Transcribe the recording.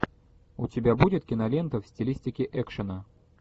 у тебя будет кинолента в стилистике экшена